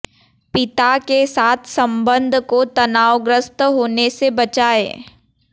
पिता के साथ संबंध को तनावग्रस्त होने से बचाएं